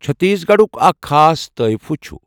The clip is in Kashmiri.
چٔھتیٖس گَڑُک اَکھ خاص طایفہٕ چُھ